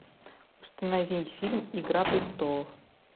установи фильм игра престолов